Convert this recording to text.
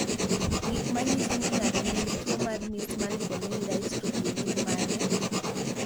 Gik manyiso ni ng'ato nigi tuwo mar Meesmann corneal dystrophy gin mage?